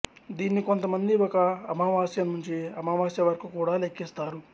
దీన్ని కొంత మంది ఒక అమావాస్య నుంచి అమావాస్య వరకు కూడా లెక్కిస్తారు